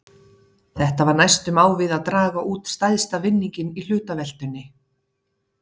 Þetta var næstum á við að draga út stærsta vinninginn í hlutaveltunni!